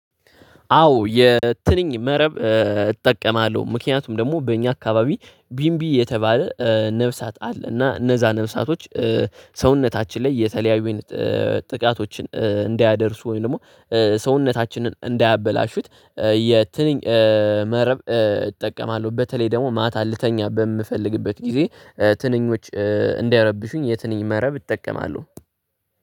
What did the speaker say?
አዎ የትንኝ መረብ እጠቀማለሁ፤ ምክንያቱም ደግሞ በእኛ አካባቢ ቢንቢ የተባለ ነፍሳት አለ እና እነዛ ነፍሳቶች ሰውነታችን ላይ የተለያዩን ጥቃቶችን እንዳያደርሱ ወይም ደግሞ ሰውነታችንን እንዳያበላሹት የትንኝ መረብ እጠቀማለሁ፤ በተለይ ደግሞ ማታ ልተኛበት በምፈልግበት ጊዜ ትንኞች እንዳይረብሹኝ የትንኝ መረብ እጠቀማለሁ።